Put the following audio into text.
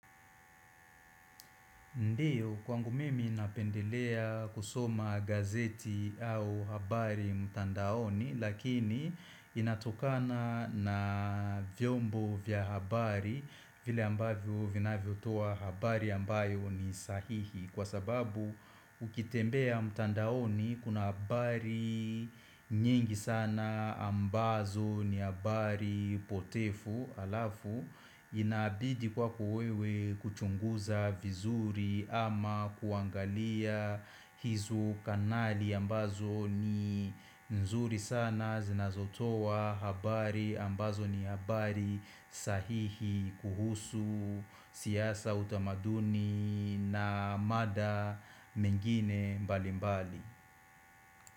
Ndiyo kwangu mimi napendelea kusoma gazeti au habari mtandaoni lakini inatokana na vyombo vya habari vile ambavyo vinavyotoa habari ambayo ni sahihi kwa sababu ukitembea mtandaoni kuna habari nyingi sana ambazo ni habari potefu alafu inabidi kwako wewe kuchunguza vizuri ama kuangalia hizo kanali ambazo ni nzuri sana zinazotoa habari ambazo ni habari sahihi kuhusu siasa utamaduni na mada mengine mbali mbali.